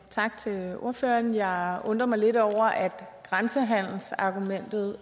tak til ordføreren jeg undrer mig lidt over at grænsehandelsargumentet